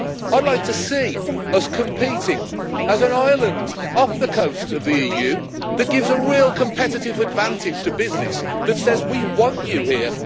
I would like to see us competing as an island off the coast of the EU that gives a real competitive advantage to business, that says we want you here